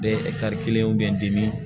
Bɛ kelen u bɛ n dimi